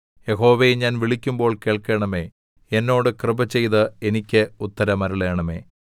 യഹോവേ ഞാൻ വിളിക്കുമ്പോൾ കേൾക്കണമേ എന്നോട് കൃപ ചെയ്ത് എനിക്ക് ഉത്തരമരുളണമേ